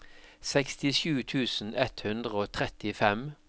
sekstisju tusen ett hundre og trettifem